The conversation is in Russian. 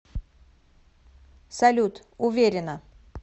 салют уверена